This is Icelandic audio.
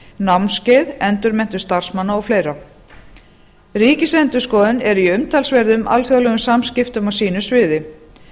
námskeið endurmenntun starfsmanna og fleiri ríkisendurskoðun er í umtalsverðum alþjóðlegum samskiptum á sínu sviði